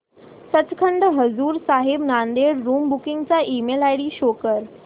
Sachkhand Hazur Sahib Nanded room booking चा email ID show कर